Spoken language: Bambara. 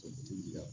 O ti diya